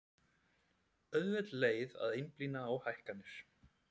Auðveld leið að einblína á hækkanir